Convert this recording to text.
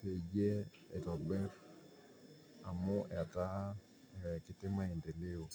peyie eitobirr amuu etaa etaa kutii imaendeleo.